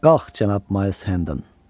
Qalx, cənab Mayls Henden.